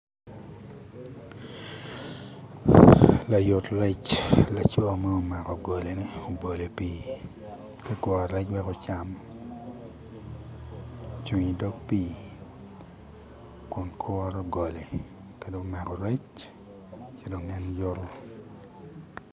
Layut rec , laco ma omako golone obolo i pii tye ka kuro rec wek ocam ocung idok pii kun kuro golone ka dong omako rec ci dong en yuto.